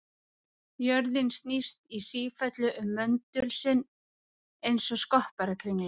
Jörðin snýst í sífellu um möndul sinn eins og skopparakringla.